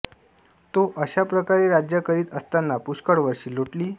तो अशाप्रकारे राज्य करीत असताना पुष्कळ वर्षे लोटली